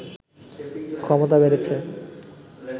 ক্ষমতা বেড়েছে